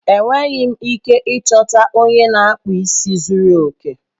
Enweghị m ike ịchọta onye na-akpụ isi zuru oke.